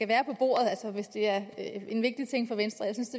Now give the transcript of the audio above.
være på bordet hvis det er en vigtig ting for venstre jeg synes